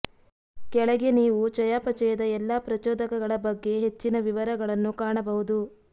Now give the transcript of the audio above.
ಕೆಳಗೆ ನೀವು ಚಯಾಪಚಯದ ಎಲ್ಲಾ ಪ್ರಚೋದಕಗಳ ಬಗ್ಗೆ ಹೆಚ್ಚಿನ ವಿವರಗಳನ್ನು ಕಾಣಬಹುದು